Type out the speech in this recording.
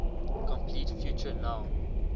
complete future null